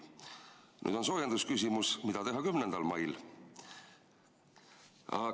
Nüüd on soojendusküsimus: mida teha 10. mail?